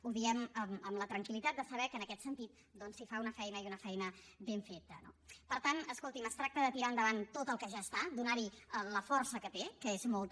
ho diem amb la tranquil·litat de saber que en aquest sentit es fa una feina i una feina ben feta no per tant escolti’m es tracta de tirar endavant tot el que ja està donar hi la força que té que és molta